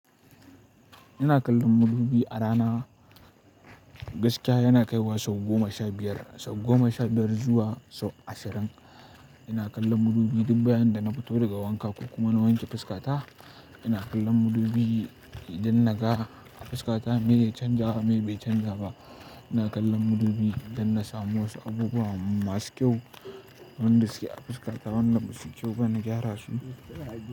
Ina kallon madubi a rana, gaskiya yana kaiwa sau goma sha biyar, sau goma sha biyar zuwa sau ashirin. Ina kallon madubi duk bayan da na fito daga wanka ko kuma na wanke fuskata. Ina kallon madubi idan na ga fuskata miye ya canza, miye bai canza ba. Ina kallon madubi idan na samu wasu abubuwa masu kyau, wadanda suke a fuskata, wadanda ba suyi kyau ba na gyara su.